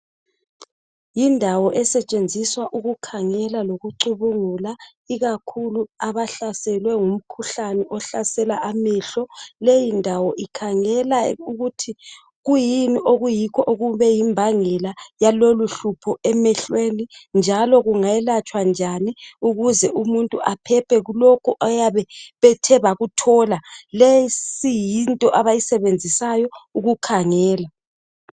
Yindawo esetshenziswa ukukhangela lokucubungula ikakhulu abahlaselwe ngumkhuhlane ohlasela amehlo leyindawo ikhangela ukuthi kwiyini okuyikho okube yimbangela yaloluhlupho emehlweni njalo kungelatshwa njani ukuze umuntu aphephe kulokho ayabe bethe bakuthola le isiyinto abayisebenzisayo ukukhangela